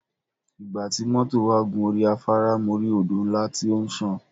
Ìgbà tí mọ́tọ̀ wà gun orí afAárá mo rí Odò ńlá tí ó ń sàn.